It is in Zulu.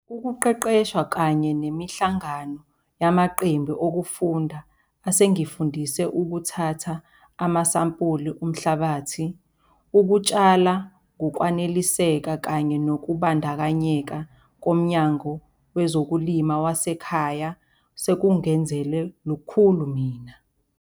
Ukuqeqeshwa kanye nemihlangano yamaqembu okufunda asengifundise ukuthatha amasampuli omhlabathi, ukutshala ngokwaneliseka kanye nokubandakanyeka koMnyango wezokuLima wasekhaya sekungenzele lukhulu mina.